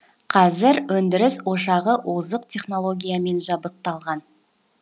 қазір өндіріс ошағы озық технологиямен жабдықталған